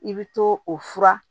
I bɛ to o fura